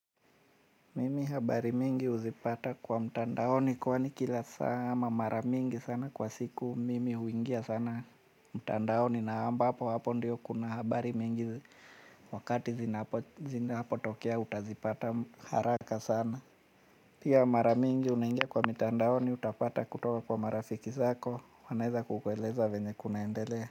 Mimi habari mingi huzipata kwa mtandaoni kwani kila saa ama mara mingi sana kwa siku mimi huingia sana mtandaoni na ambapo hapo ndiyo kuna habari mingi wakati zinapo tokea utazipata haraka sana. Pia mara mingi unaingia kwa mtandaoni utapata kutoka kwa marafiki zako wanaeza kukueleza venye kunaendelea.